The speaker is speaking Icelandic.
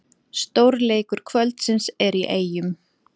Stórleikur kvöldsins er í Eyjum